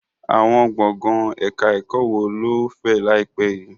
Àwọn gbọ̀ngàn ẹ̀ka ẹ̀kọ́ wo ló fẹ̀ láìpẹ́ yìí?